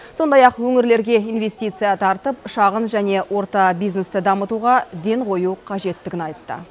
сондай ақ өңірлерге инвестиция тартып шағын және орта бизнесті дамытуға ден қою қажеттігін айтты